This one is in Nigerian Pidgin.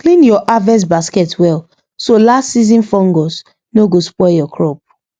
clean your harvest basket well so last season fungus no go spoil your crop